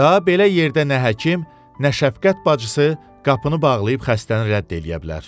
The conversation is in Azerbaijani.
Daha belə yerdə nə həkim, nə şəfqət bacısı qapını bağlayıb xəstəni rədd eləyə bilər.